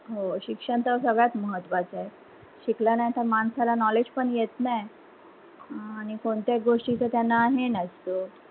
हो शिक्षण तर सगळ्यात महत्वाच आहे. शिकला नाही तर माणसाला knowledge पण येत नाही अं आणि कोणत्याच गोष्टी च त्यांना हे नसत.